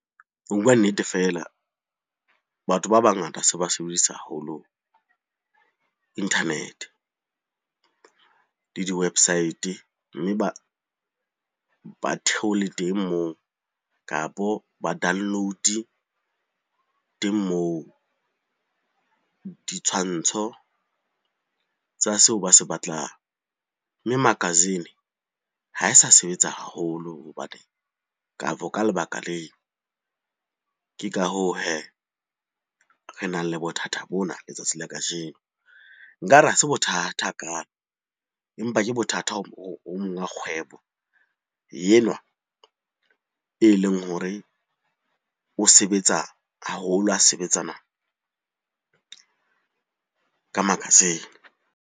Ho bua nnete feela, batho ba bangata se ba sebedisa haholo internet-e le di-website. Mme ba theole teng moo, kapo ba download-e teng moo ditshwantsho tsa seo ba se batlang. Mme makasine ha e sa sebetsa haholo hobane, kapo ka lebaka leo. Ke ka hoo hee, re nang le bothata bona letsatsi la kajeno. Nkare hase bothata hakalo, empa ke bothata ho monga kgwebo enwa e leng hore o sebetsa haholo ho sebetsana ka makasine.